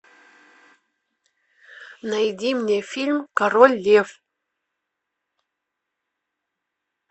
найди мне фильм король лев